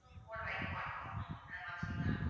போட வைக்க மாட்டோம் அந்த மாதிரி இருக்காங்க ma'am